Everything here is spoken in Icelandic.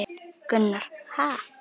Gunnar: Ha!